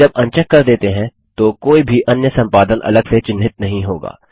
जब अनचेक कर देते हैं तो कोई भी अन्य संपादन अलग से चिन्हित नहीं होगा